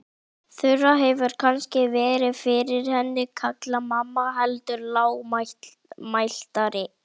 Þura hefur kannski verið fyrir henni kallaði mamma heldur lágmæltari.